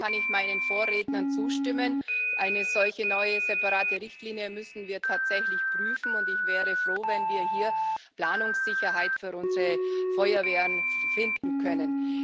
Im Grunde kann ich meinen Vorrednern zustimmen Eine solche neue, separate Richtlinie müssen wir tatsächlich prüfen, und ich wäre froh, wenn wir hier Planungssicherheit für unsere Feuerwehren finden können.